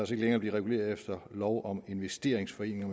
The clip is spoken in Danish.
længere blive reguleret efter lov om investeringsforeninger